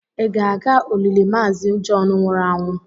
ị ga-aga olili maazi John wuru anwu?